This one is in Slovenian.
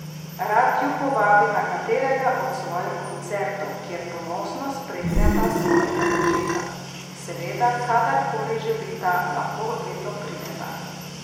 Rad ju povabi na katerega od svojih koncertov, kjer ponosno spremljata svojega očeta: "Seveda, kadar koli želita, lahko vedno prideta.